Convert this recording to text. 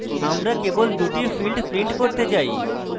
আমরা কেবল দুটি fields print করতে say